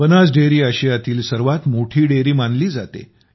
Banas dairy आशियातील सर्वात मोठी डेअरी मानली जाते